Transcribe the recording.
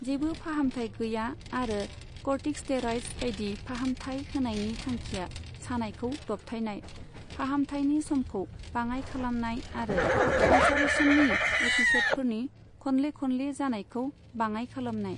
जेबो फाहामथाय गैया, आरो कर्टिकस्टेरइड्स बायदि फाहामथाय होनायनि थांखिया सानायखौ दबथायनाय, फाहामथायनि समखौ बाङाय खालामनाय आरो आल्सारेशननि एपिसडफोरनि खनले खनले जानायखौ बाङाय खालामनाय।